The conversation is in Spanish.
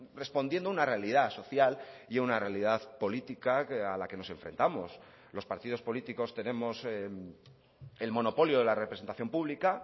respondiendo a una realidad social y a una realidad política a la que nos enfrentamos los partidos políticos tenemos el monopolio de la representación pública